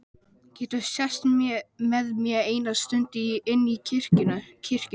Geturðu sest með mér eina stund inn í kirkju?